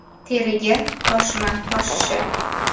Teriga toshma toshishi.